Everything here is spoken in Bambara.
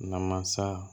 Namasa